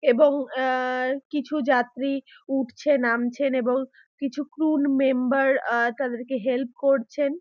এবং এ- কিছু যাত্রী উঠছে নামছেন এবং কিছু ত্রুন মেম্বার তাদেরকে হেল্প করছেন।